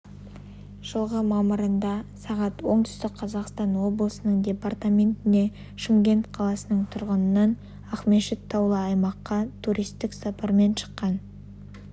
жылғы мамырында сағат оңтүстік қазақстан облысының департаментіне шымкент қаласының тұрғынынан ақмешіт таулы аймаққа туристік сапармен шыққан